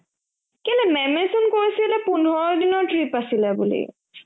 কেলে ma'am য়ে চোন কৈছিলে পোন্ধৰদিনৰ trip আছিলে বুলি